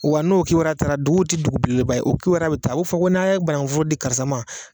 Wa n'o kibaruya taara, dugu tɛ dugu belebeleba ye o kibaruya bɛ taa a bi fɔ ko n'a n'a ye banankun foro di karisa ma!